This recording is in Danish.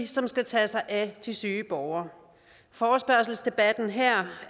som skal tage sig af de syge borgere forespørgselsdebatten her